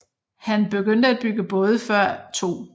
Han begyndte at bygge både før 2